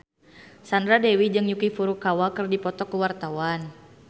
Sandra Dewi jeung Yuki Furukawa keur dipoto ku wartawan